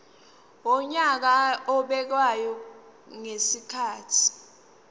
wonyaka obekwayo ngezikhathi